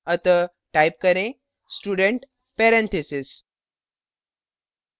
अतः type करें student parentheses